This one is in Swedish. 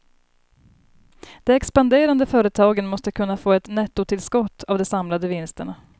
De expanderande företagen måste kunna få ett nettotillskott av de samlade vinsterna.